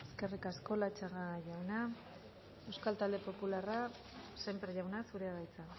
eskerrik asko latxaga jauna euskal talde popularra sémper jauna zurea da hitza